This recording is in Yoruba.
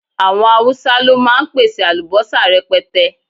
Àwọn Haúsá ló máa ń pèsè àlùbọ́sà rẹpẹtẹ